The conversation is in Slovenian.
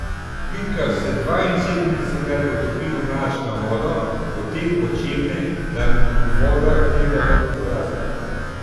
Pinkas se dvainsedemdesetkrat potopi v mlačno vodo, potem počepne, da mu voda sega do podbradka.